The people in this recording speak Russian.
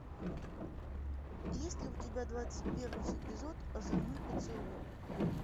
есть ли у тебя двадцать первый эпизод озорной поцелуй